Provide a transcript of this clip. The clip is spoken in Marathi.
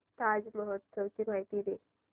ताज महोत्सव ची माहिती दे